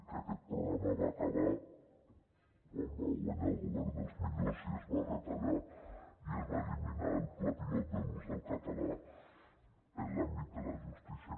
que aquest programa va acabar quan va guanyar el govern dels millors i es va retallar i es va eliminar el pla pilot de l’ús del català en l’àmbit de la justícia